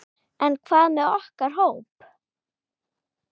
En hvað með okkar hóp?